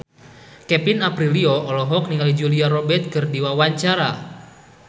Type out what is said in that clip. Kevin Aprilio olohok ningali Julia Robert keur diwawancara